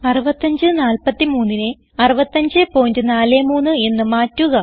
6543 നെ 6543 എന്ന് മാറ്റുക